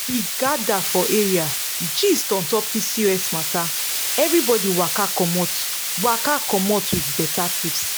we gather for area gist on top pcos matter everybody waka commot waka commot with better tips